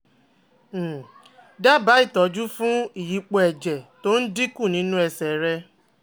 um Dábàá ìtọ́jú fún ìyípo ẹ̀jẹ̀ tó dínkù nínú ẹsẹ̀ rẹ